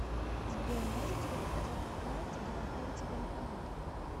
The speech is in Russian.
сбер можете ли показать на карте где находится банкомат